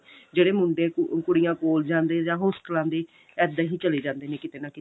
ਜਿਹੜੇ ਮੁੰਡੇ ਕੁੜੀਆਂ ਕੋਲਜਾਂ ਦੇ ਜਾਂ ਹੋਸਟਲਾਂ ਦੇ ਇੱਦਾਂ ਹੀ ਚਲੇ ਜਾਂਦੇ ਨੇ ਕੀਤੇ ਨਾ ਕੀਤੇ